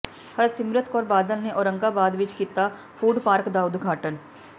ਹਰਸਿਮਰਤ ਕੌਰ ਬਾਦਲ ਨੇ ਔਰੰਗਾਬਾਦ ਵਿੱਚ ਕੀਤਾ ਫੂਡਪਾਰਕ ਦਾ ਉਦਘਾਟਨ